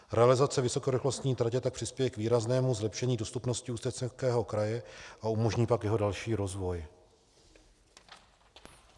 Realizace vysokorychlostní tratě tak přispěje k výraznému zlepšení dostupnosti Ústeckého kraje a umožní tak jeho další rozvoj.